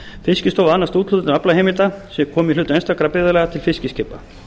fiskistofa annast úthlutun aflaheimilda sem koma í hlut einstakra byggðarlaga til fiskiskipa